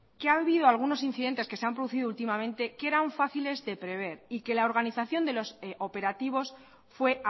que ha habido algunos incidentes que se han producido últimamente que eran fáciles de prever y que la organización de los operativos fue